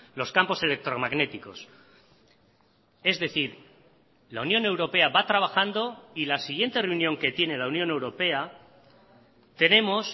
los campos electromagnéticos es decir la unión europea va trabajando y la siguiente reunión que tiene la unión europea tenemos